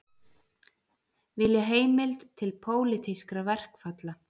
Vilja heimild til pólitískra verkfalla